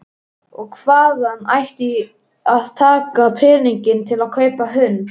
Og hvaðan ætti að taka peninga til að kaupa hund?